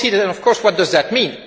Of course. What does that mean?